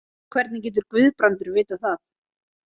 En hvernig getur Guðbrandur vitað það?